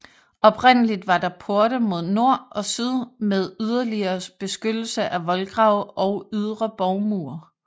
Oprindeligt var der porte mod nord og syd med yderligere beskyttelse af voldgrave og ydre borgmure